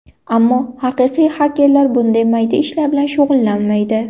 Ammo haqiqiy xakerlar bunday mayda ishlar bilan shug‘ullanmaydi.